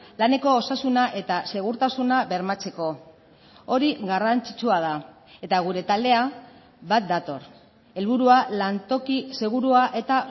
laneko osasuna eta segurtasuna bermatzeko hori garrantzitsua da eta gure taldea bat dator helburua lantoki segurua eta